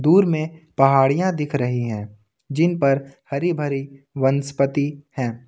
Tour में पहाड़ियां दिख रही है जिन पर हरी भरी वनस्पति हैं।